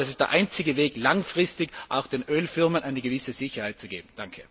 Ich glaube, das ist der einzige Weg, langfristig auch den Ölfirmen eine gewisse Sicherheit zu geben.